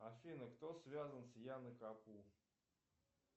афина кто связан с яной капу